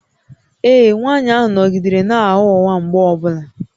Ee, nwanyị ahụ nọgidere na-agha ụgha mgbe ọ bụla